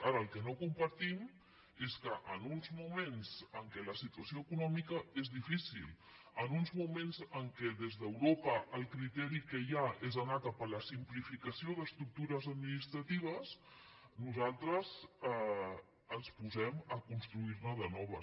ara el que no compartim és que en uns moments en què la situació econòmica és difícil en uns moments en què des d’europa el criteri que hi ha és anar cap a la simplificació d’estructures administratives nosaltres ens posem a construirne de noves